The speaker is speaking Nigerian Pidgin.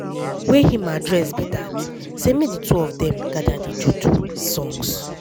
wey im address be dat say make di two of dem gada dey do do di songs.